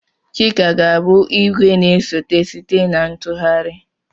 Chika ga-abụ igwe na-esote site na ntụgharị.